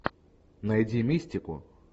найди мистику